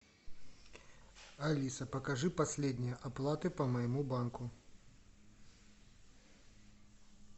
алиса покажи последние оплаты по моему банку